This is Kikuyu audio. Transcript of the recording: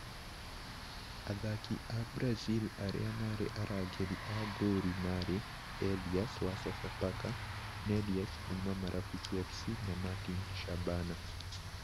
Athaki a Brazil arĩa marĩ arangĩri a ngoru marĩ: Elius(Sofapaka), Nelius( Marafiki FC), Martin (Shabana)